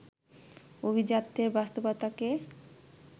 অভিজাত্যের বাস্তবতাকে